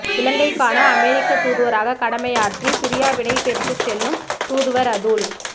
இலங்கைக்கான அமெரிக்கத் தூதுவராக கடமையாற்றி பிரியாவிடை பெற்றுச் செல்லும் தூதுவர் அதுல்